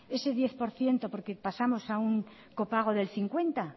ese diez por ciento porque pasamos a un copago del cincuenta